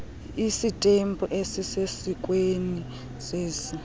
istampu esisesikweni sesi